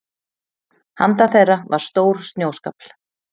Handan þeirra var stór snjóskafl.